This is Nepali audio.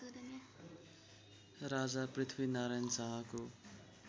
राजा पृथ्वीनारायण शाहको